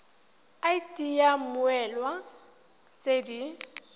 id ya mmoelwa tse di